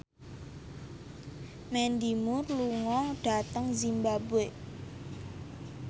Mandy Moore lunga dhateng zimbabwe